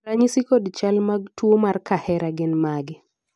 ranyisi kod chal mag tuo mar kahera gin mage?